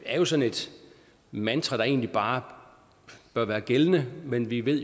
er jo sådan et mantra der egentlig bare bør være gældende men vi ved